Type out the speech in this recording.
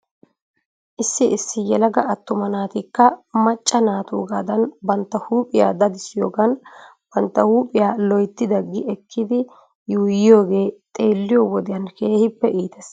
Issi issi yelaga attuma naatikka macca naatuugaadan bantta huuphphiya dadissiyogan bantta huuphiya loyittida gi ekkidi yuuyiyogee xeelliyo wodiyan keehippe iitees.